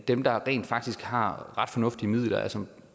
dem der rent faktisk har ret fornuftige midler altså